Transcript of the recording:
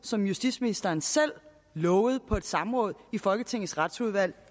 som justitsministeren selv lovede på et samråd i folketingets retsudvalg